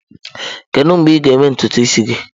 Kedu mgbe ị ga-eme ntutu isi gị?